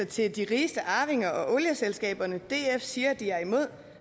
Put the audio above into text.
til de rigeste arvinger og olieselskaberne df siger de er imod